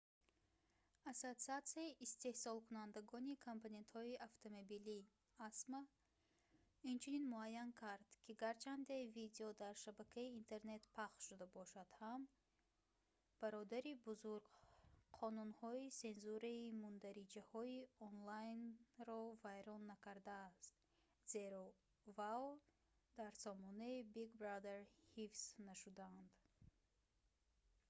ассотсиатсияи истеҳсолкунандагони компонентҳои автомобилӣ acma инчунин муайян кард ки гарчанде видео дар шабакаи интернет пахш шуда бошад ҳам бародари бузург қонунҳои сензураи мундариҷаҳои онлайнро вайрон накардаст зеро вао дар сомонаи big brother ҳифз нашудаанд